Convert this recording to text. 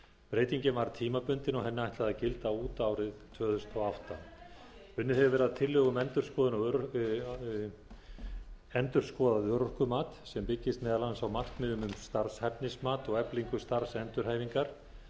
breytingin var tímabundin og henni ætlað að gilda út árið tvö þúsund og átta unnið hefur verið að tillögum um endurskoðað örorkumat sem byggist meðal annars á markmiðum um starfshæfnismat og eflingu starfsendurhæfingar